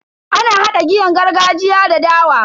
Ana hada giyan gargajiya da dawa.